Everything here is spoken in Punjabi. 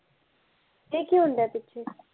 ਏਹ ਕੀ ਹੁੰਦਾ ਐ ਪਿੱਛੇ